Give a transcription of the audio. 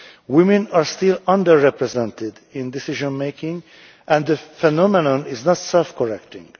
Women are still under represented in decision making and the phenomenon is not self correcting.